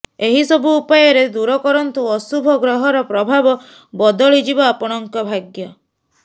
ଏହିସବୁ ଉପାୟରେ ଦୂର କରନ୍ତୁ ଅଶୁଭ ଗ୍ରହର ପ୍ରଭାବ ବଦଳଯିବ ଆପଣଙ୍କ ଭାଗ୍ୟ